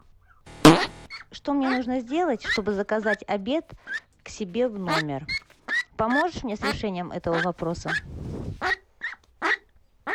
что мне нужно сделать чтобы заказать обед к себе в номер поможешь мне с решением этого вопроса